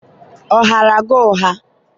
ọ ghaara gi ụgha?